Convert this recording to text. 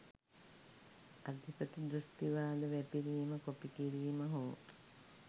අධිපති දෘෂ්ටිවාද වැපිරීම කොපි කිරීම හෝ